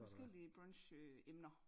Forskellige brunch øh emner